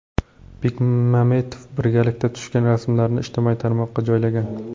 Bekmambetov birgalikda tushgan rasmlarini ijtimoiy tarmoqqa joylagan.